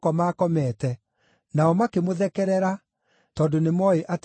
Nao makĩmũthekerera, tondũ nĩmooĩ atĩ aarĩ mũkuũ.